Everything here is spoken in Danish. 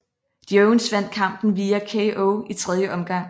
Jones vandt kampen via KO i tredje omgang